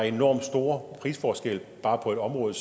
er enormt store prisforskelle bare på et område